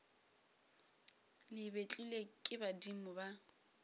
le betlilwe ke badimo ba